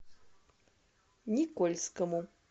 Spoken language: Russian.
никольскому